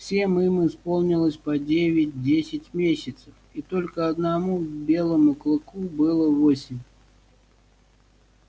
всем им исполнилось по девять десять месяцев и только одному белому клыку было восемь